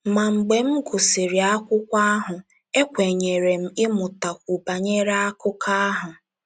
Ma mgbe m gụsịrị akwụkwọ ahụ, ekwenyere m ịmụtakwu banyere akụkọ ahụ.